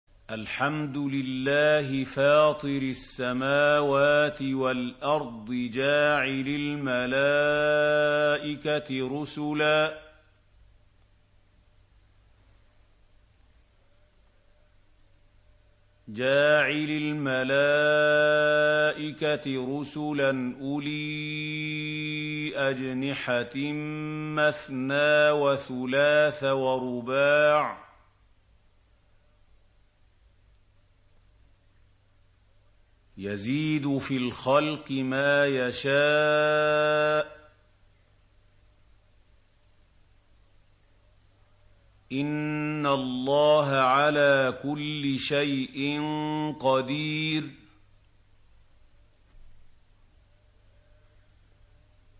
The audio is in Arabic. الْحَمْدُ لِلَّهِ فَاطِرِ السَّمَاوَاتِ وَالْأَرْضِ جَاعِلِ الْمَلَائِكَةِ رُسُلًا أُولِي أَجْنِحَةٍ مَّثْنَىٰ وَثُلَاثَ وَرُبَاعَ ۚ يَزِيدُ فِي الْخَلْقِ مَا يَشَاءُ ۚ إِنَّ اللَّهَ عَلَىٰ كُلِّ شَيْءٍ قَدِيرٌ